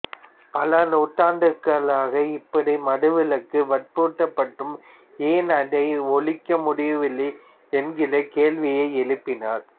பல நூற்றாண்டுகளாக இப்படி மதுவிலக்கு வற்புறுத்தப்பட்டும் ஏன் அதை ஒழிக்க முடியவில்லை என்கிற கேள்வியை எழுப்பினார்